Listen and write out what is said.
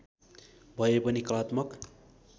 भए पनि कलात्मक